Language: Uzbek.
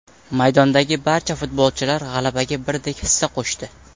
Maydondagi barcha futbolchilar g‘alabaga birdek hissa qo‘shdi.